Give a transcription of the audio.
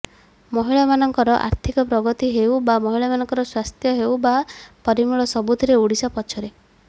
ମହିଳାମାନଙ୍କର ଆର୍ଥିକ ପ୍ରଗତି ହେଉ ବା ମହିଳାମାନଙ୍କର ସ୍ୱାସ୍ଥ୍ୟ ହେଉ ବା ପରିମଳ ସବୁଥିରେ ଓଡିଶା ପଛରେ